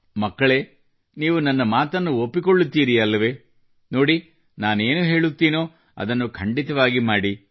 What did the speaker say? ಮಕ್ಕಳೇ ನೀವು ನನ್ನ ಮಾತನ್ನು ಒಪ್ಪಿಕೊಳ್ಳುತ್ತೀರಿ ಅಲ್ಲವೇ ನೋಡಿ ನಾನೇನು ಹೇಳುತ್ತೀನೋ ಅದನ್ನು ಖಂಡಿತವಾಗಿ ಮಾಡಿ